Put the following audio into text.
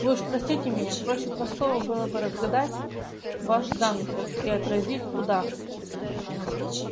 вы уж простите меня проще простого было бы разгадать ваш замысел и отразить удар